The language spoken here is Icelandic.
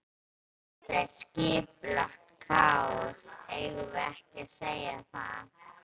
Þetta er skipulagt kaos, eigum við ekki að segja það?